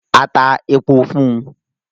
A tá èpò fún un